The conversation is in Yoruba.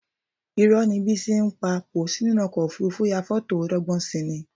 Irọ́ ni Bísí pa, kò sí nínú ọkọ̀ òfuurufú ya fọ́tò ó dọ́gbọ́n si ni